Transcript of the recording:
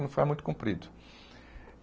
Não muito comprido.